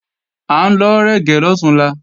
À ń lọ rẹ̀gẹ́ lọ̀túnla